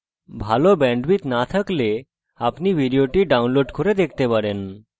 যদি আপনার কাছে ভালো bandwidth না থাকে তাহলে আপনি এটা download করেও দেখতে পারেন